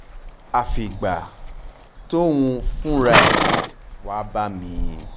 àfìgbà tóun fúnra ẹ̀ wàá bá mi